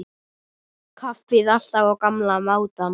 Kaffið alltaf á gamla mátann.